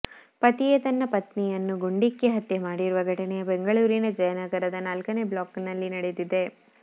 ಪತಿಯೇ ತನ್ನ ಪತ್ನಿಯನ್ನು ಗುಂಡಿಕ್ಕಿ ಹತ್ಯೆ ಮಾಡಿರುವ ಘಟನೆ ಬೆಂಗಳೂರಿನ ಜಯನಗರದ ನಾಲ್ಕನೇ ಬ್ಲಾಕ್ ನಲ್ಲಿ ನಡೆದಿದೆ